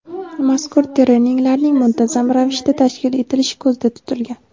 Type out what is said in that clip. mazkur treninglarning muntazam ravishda tashkil etilishi ko‘zda tutilgan.